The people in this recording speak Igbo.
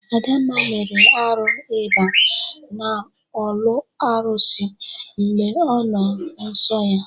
Adamma mere arụ iba n'ọlụ arụsị mgbe ọ nọ nsọ ya.